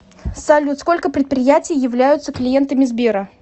салют сколько предприятий являются клиентами сбера